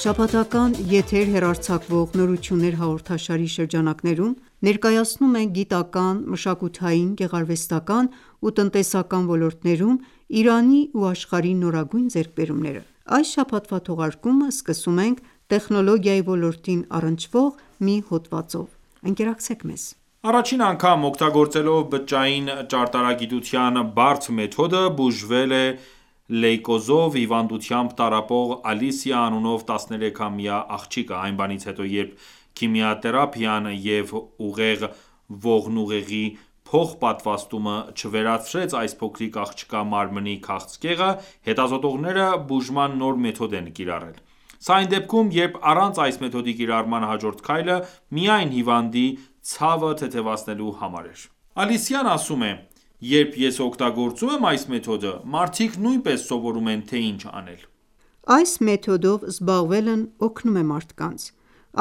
Շաբաթական եթեր հեռարձակվող «Նորություններ» հաղորդաշարի շրջանակներում, ներկայացնում ենք գիտական, մշակութային, գեղարվեստական, ու տնտեսական ոլորտներում Իրանի ու աշխարհի նորագույն ձեռքբերումները։ Այս շաբաթվա թողարկումը սկսում ենք տեխնոլոգիայի ոլորտին առնչվող մի հոդվածով։ Առաջին անգամ, օգտագործելով բջջային ճարտարագիտության բարդ մեթոդը, բուժվել է լեյկոզով հիվանդությամբ տառապող Ալիսիա անունով 13-ամյա աղջիկը: Այն բանից հետո, երբ քիմիաթերապիան և ուղեղ-ողնուղեղի փոխպատվաստումը չվերացրեց այս փոքրիկ աղջկա մարմնի քաղցկեղը, հետազոտողները բուժման նոր մեթոդ են կիրառել: Սա այն դեպքում, երբ առանց այս մեթոդի կիրառման հաջորդ քայլը միայն հիվանդի ցավը թեթևացնելու համար էր: Ալիսիայի խոսքերով, երբ ես օգտագործում եմ այս մեթոդը, մարդիկ նույնպես սովորում են, թե ինչ անել։ Այս մեթոդով զբաղվելն օգնում է մարդկանց։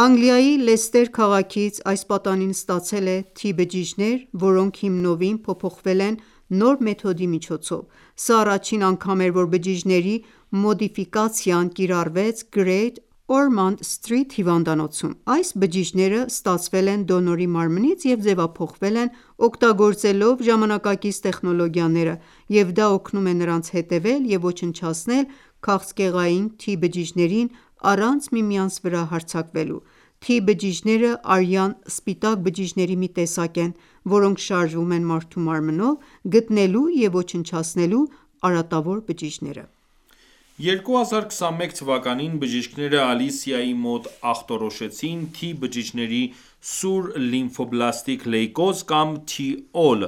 Անգլիայի Լեսթեր քաղաքից այս պատանին ստացել է T-բջիջներ, որոնք հիմնովին փոփոխվել են նոր մեթոդի միջոցով: Սա առաջին անգամ էր, որ բջիջների մոդիֆիկացիան կիրառվեց Great Ormond Street հիվանդանոցում: Այս բջիջները ստացվել են դոնորի մարմնից և ձևափոխվել են՝ օգտագործելով ժամանակակից տեխնոլոգիաները և դա օգնում է նրանց հետևել և և ոչնչացնել քաղցկեղային T բջիջներին՝ առանց միմյանց վրա հարձակվելու: T բջիջները արյան սպիտակ բջիջների մի տեսակ են, որոնք շարժվում են մարդու մարմնով` գտնելու և ոչնչացնելու արատավոր բջիջները: 2021 թվականին բժիշկները Ալիսիայի մոտ ախտորոշեցին «T-բջիջների սուր լիմֆոբլաստիկ լեյկոզ» կամ T-ALL,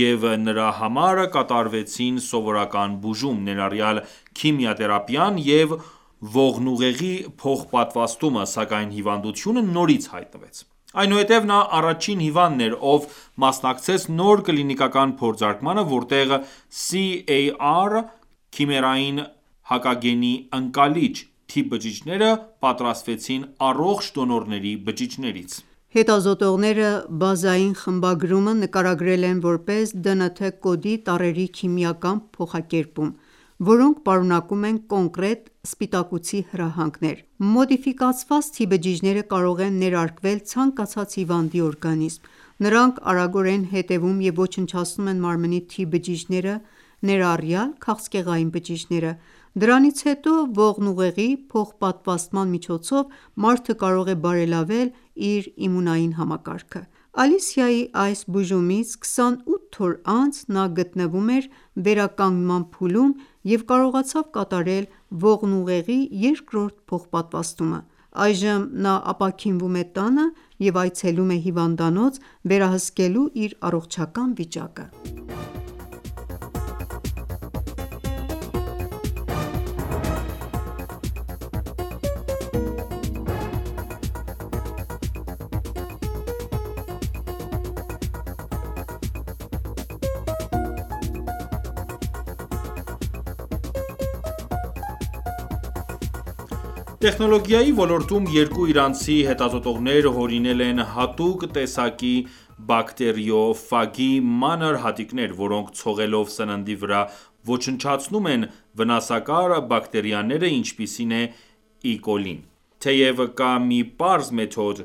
և նրա համար կատարվեցին սովորական բուժում, ներառյալ քիմիաթերապիան և ողնուղեղի փոխպատվաստումը, սակայն հիվանդությունը նորից հայտնվեց: Այնուհետև նա առաջին հիվանդն էր, ով մասնակցեց նոր կլինիկական փորձարկմանը, որտեղ CAR (քիմերային հակագենի ընկալիչ) T բջիջները պատրաստվեցին առողջ դոնորների բջիջներից: Հետազոտողները բազային խմբագրումը նկարագրել են որպես ԴՆԹ կոդի տառերի քիմիական փոխակերպում, որոնք պարունակում են կոնկրետ սպիտակուցի հրահանգներ: Մոդիֆիկացված T բջիջները կարող են ներարկվել ցանկացած հիվանդի օրգանիզմ: Նրանք արագորեն հետևում և ոչնչացնում են մարմնի T բջիջները, ներառյալ քաղցկեղային բջիջները: Դրանից հետո ողնուղեղի փոխպատվաստման միջոցով մարդը կարող է բարելավել իր իմունային համակարգը։ Ալիսիայի այս բուժումից 28 օր անց նա գտնվում էր վերականգնման փուլում և կարողացավ կատարել ողնուղեղի երկրորդ փոխպատվաստումը: Այժմ նա ապաքինվում է տանը և այցելում է հիվանդանոց՝ վերահսկելու իր առողջական վիճակը: Տեխնոլոգիայի ոլորտում երկու իրանցի հետազոտողներ հորինել են հատուկ տեսակի բակտերիոֆագի մանր հատիկներ, որոնք ցողելով սննդի վրա ոչնչացնում են վնասակար բակտերիաները, ինչպիսին է E. coli-ն։ Թեեւ կա մի պարզ մեթոդ,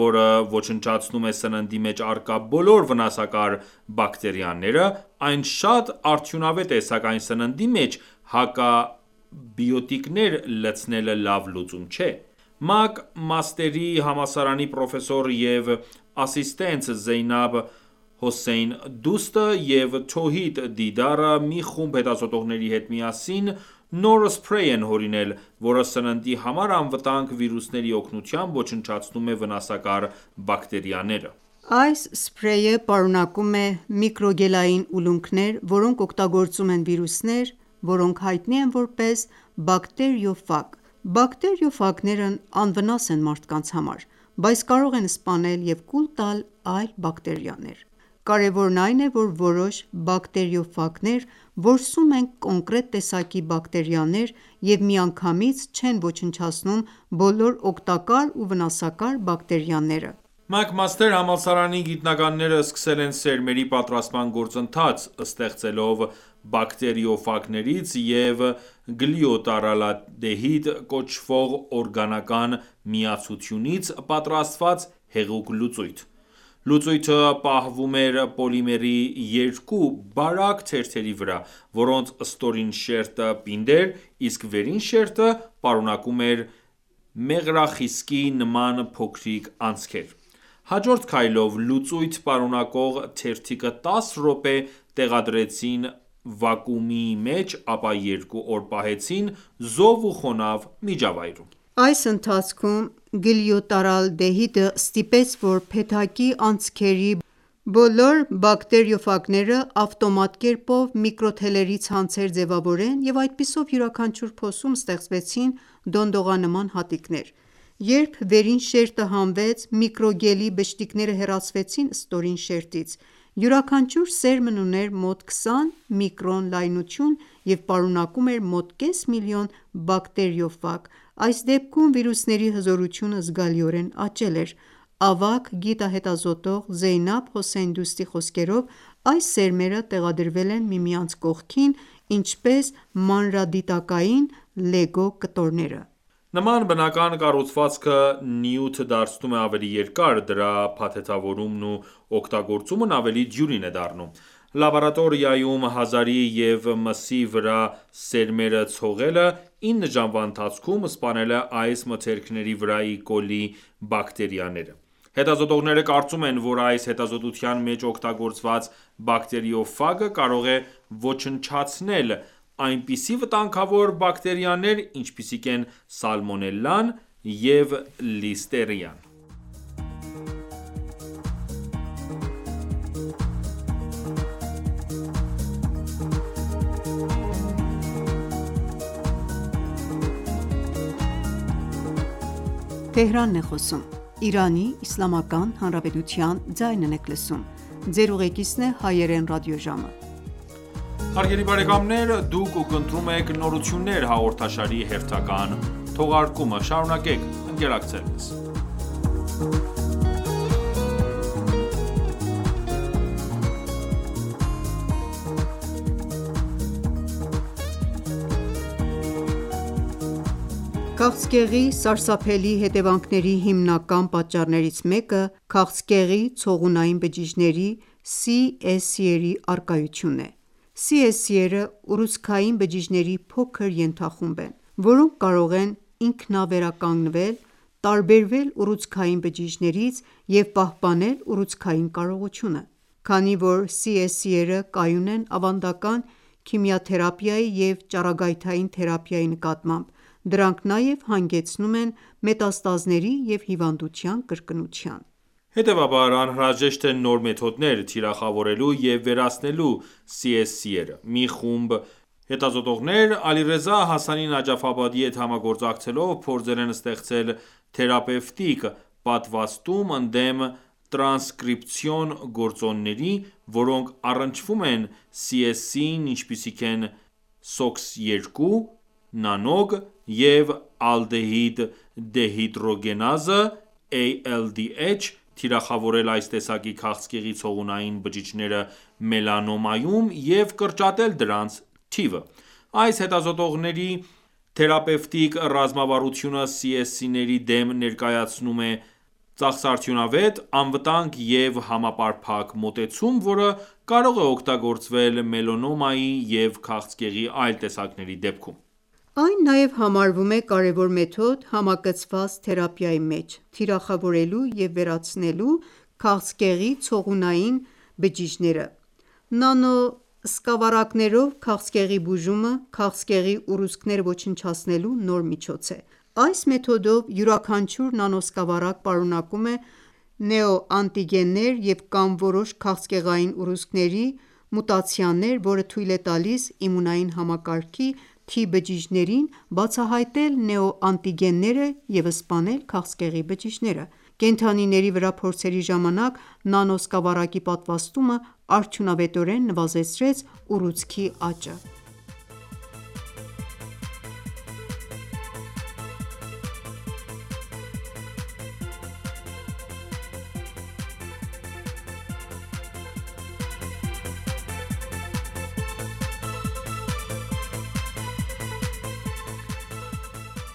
որը ոչնչացնում է սննդի մեջ առկա բոլոր վնասակար բակտերիաները, այն շատ արդյունավետ է, սակայն սննդի մեջ հակաբիոտիկներ լցնելը լավ լուծում չէ։ Մակ Մաստերի համալսարանի պրոֆեսոր և ասիստենտ Զեյնաբ Հոսեյն Դուստը և Թոհիդ Դիդարը մի խումբ հետազոտողների հետ միասին նոր սփրեյ են հորինել, որը սննդի համար անվտանգ վիրուսների օգնությամբ ոչնչացնում է վնասակար բակտերիաները: Այս սփրեյը պարունակում է միկրոգելային ուլունքներ, որոնք օգտագործում են վիրուսներ, որոնք հայտնի են որպես բակտերիոֆագ: Բակտերիոֆագներն անվնաս են մարդկանց համար, բայց կարող են սպանել և կուլ տալ այլ բակտերիաներ: Կարեւորն այն է, որ որոշ բակտերիոֆագներ որսում են կոնկրետ տեսակի բակտերիաներ եւ միանգամից չեն ոչնչացնում բոլոր օգտակար ու վնասակար բակտերիաները։ McMaster համալսարանի գիտնականները սկսել են սերմերի պատրաստման գործընթաց՝ ստեղծելով բակտերիոֆագներից և գլյուտարալդեհիդ կոչվող օրգանական միացությունից պատրաստված հեղուկ լուծույթ: Լուծույթը պահվում էր պոլիմերի 2 բարակ թերթերի վրա, որոնց ստորին շերտը պինդ էր, իսկ վերին շերտը պարունակում էր մեղրախիսկի նման փոքրիկ անցքեր։ Հաջորդ քայլով լուծույթ պարունակող թերթիկը 10 րոպե տեղադրեցին վակուումի մեջ, ապա 2 օր պահեցին զով ու խոնավ միջավայրում։ Այս ընթացքում գլյուտարալդեհիդը ստիպեց, որ փեթակի անցքերի բոլոր բակտերիոֆագները ավտոմատ կերպով միկրոթելերի ցանցեր ձևավորեն, և այդպիսով յուրաքանչյուր փոսում ստեղծվեցին դոնդողանման հատիկներ։ Երբ վերին շերտը հանվեց, միկրոգելի բշտիկները հեռացվեցին ստորին շերտից: Յուրաքանչյուր սերմն ուներ մոտ 20 միկրոն լայնություն և պարունակում էր մոտ կես միլիոն բակտերիոֆագ: Այս դեպքում վիրուսների հզորությունը զգալիորեն աճել էր։ Ավագ հետազոտող Զեյնաբ Հոսեյն Դուստի խոսքերով, այս սերմերը տեղադրվել են միմյանց կողքին, ինչպես մանրադիտակային Lego կտորները: Նման բնական կառուցվածքը նյութը դարձնում է ավելի երկար, դրա փաթեթավորումն ու օգտագործումն ավելի դյուրին է դառնում։ Լաբորատորիայում հազարի և մսի վրա սերմերը ցողելը 9 ժամվա ընթացքում սպանել է այս մթերքների վրա E. coli բակտերիաները: Հետազոտողները կարծում են, որ այս հետազոտության մեջ օգտագործված բակտերիոֆագը կարող է ոչնչացնել այնպիսի վտանգավոր բակտերիաներ, ինչպիսիք են սալմոնելլան և լիստերիան: Քաղցկեղի սարսափելի հետեւանքների հիմնական պատճառներից մեկը քաղցկեղի ցողունային բջիջների (CSCs) առկայությունն է: CSC-ները ուռուցքային բջիջների փոքր ենթախումբ են, որոնք կարող են ինքնավերականգնվել, տարբերվել ուռուցքային բջիջներից և պահպանել ուռուցքածին կարողությունը: Քանի որ CSC-ները կայուն են ավանդական քիմիաթերապիայի և ճառագայթային թերապիայի նկատմամբ, դրանք նաև հանգեցնում են մետաստազների և հիվանդության կրկնության: Հետևաբար, անհրաժեշտ են նոր մեթոդներ՝ թիրախավորելու և վերացնելու CSC-ները: Մի խումբ հետազոտողներ Ալիռեզա Հասանի Նաջաֆաբադիի հետ համագործակցելով փորձել են ստեղծել թերապևտիկ պատվաստում ընդդեմ տրանսկրիպցիոն գործոնների, որոնք առնչվում են CSC-ին ինչպիսիք են Sox2, Nanog և ալդեհիդդեհիդրոգենազը (ALDH), թիրախավորել այս տեսակի քաղցկեղի ցողունային բջիջները մելանոմայում և կրճատել դրանց թիվը: Այս հետազոտողների թերապևտիկ ռազմավարությունը CSC-ների դեմ ներկայացնում է ծախսարդյունավետ, անվտանգ և համապարփակ մոտեցում, որը կարող է օգտագործվել մելանոմայի և քաղցկեղի այլ տեսակների դեպքում։ Այն նաև համարվում է կարևոր մեթոդ համակցված թերապիայի մեջ՝ թիրախավորելու և վերացնելու CSC-ները: Նանոսկավառակներով քաղցկեղի բուժումը քաղցկեղի ուռուցքները ոչնչացնելու նոր միջոց է։ Այս մեթոդով յուրաքանչյուր նանոսկավառակ պարունակում է նեոանտիգեններ և կամ որոշ քաղցկեղային ուռուցքների մուտացիաներ որը թույլ է տալիս իմունային համակարգի T-բջիջներին (T-լիմֆոցիտներին) բացահայտել նեո-անտիգենները և և սպանել քաղցկեղի բջիջները: Կենդանիների վրա փորձերի ժամանակ նանոսկավառակի պատվաստումը արդյունավետորեն նվազեցրեց ուռուցքի աճը: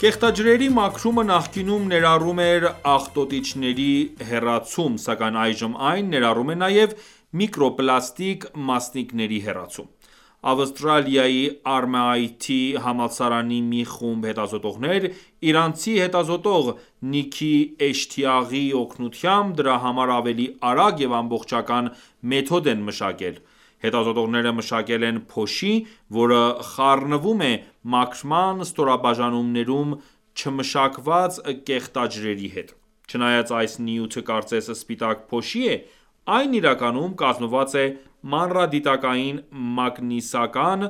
Կեղտաջրերի մաքրումը նախկինում ներառում էր աղտոտիչների հեռացում, սակայն այժմ այն ​​ներառում է նաև միկրոպլաստիկ մասնիկների հեռացում: Ավստրալիայի RMIT համալսարանի մի խումբ հետազոտողներ իրանցի հետազոտող Նիքի Էշթիաղիի օգնությամբ դրա համար ավելի արագ և ամբողջական մեթոդ են մշակել: Հետազոտողները մշակել են փոշի, որը խառնվում է մաքրման ստորաբաժանումներում չմշակված կեղտաջրերի հետ: Չնայած այս նյութը կարծես սպիտակ փոշի է, այն իրականում կազմված է մանրադիտակային մագնիսական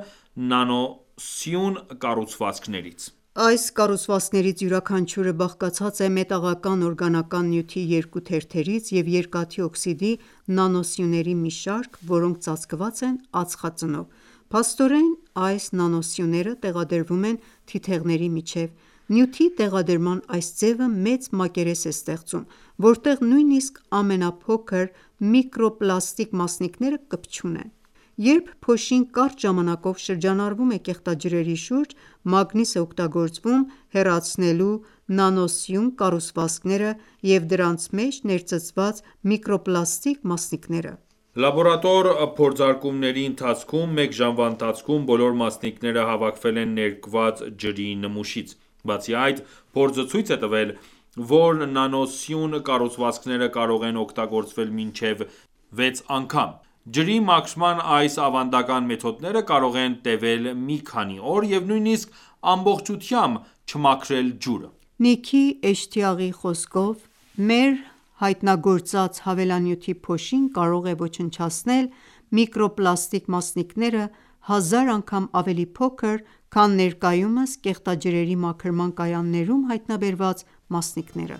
նանոսյուն կառուցվածքներից: Այս կառուցվածքներից յուրաքանչյուրը բաղկացած է մետաղական օրգանական նյութի երկու թերթերից (MOF) և երկաթի օքսիդի նանոսյուների մի շարք, որոնք ծածկված են ածխածնով: Փաստորեն, այս նանոսյունները տեղադրվում են թիթեղների միջև: Նյութի տեղադրման այս ձևը մեծ մակերես է ստեղծում, որտեղ նույնիսկ ամենափոքր միկրոպլաստիկ մասնիկները կպչում են: Երբ փոշին կարճ ժամանակով շրջանառվում է կեղտաջրերի շուրջ, մագնիս է օգտագործվում՝ հեռացնելու նանոսյուն կառուցվածքները և դրանց մեջ ներծծված միկրոպլաստիկ մասնիկները: Լաբորատոր փորձարկումների ընթացքում մեկ ժամվա ընթացքում բոլոր մասնիկները հավաքվել են ներկված ջրի նմուշից: Բացի այդ, փորձը ցույց է տվել, որ նանոսյուն կառուցվածքները կարող են օգտագործվել մինչև 6 անգամ։ Ջրի մաքրման այս ավանդական մեթոդները կարող են տևել մի քանի օր և նույնիսկ ամբողջությամբ չմաքրել ջուրը: Նիքի Էշթիաղիի խոսքով, մեր հայտնագործած հավելանյութի փոշին կարող է ոչնչացնել միկրոպլաստիկ մասնիկները հազար անգամ ավելի փոքր, քան ներկայումս կեղտաջրերի մաքրման կայաններում հայտնաբերված մասնիկները: